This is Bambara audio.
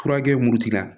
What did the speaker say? Furakɛ muru cira